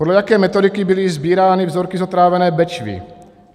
Podle jaké metodiky byly sbírány vzorky z otrávené Bečvy?